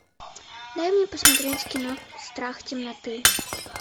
дай мне посмотреть кино страх темноты